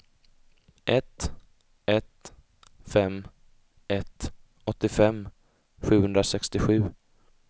ett ett fem ett åttiofem sjuhundrasextiosju